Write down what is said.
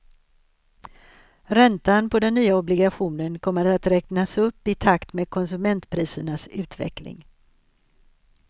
Räntan på den ny obligationen kommer att räknas upp i takt med konsumentprisernas utveckling.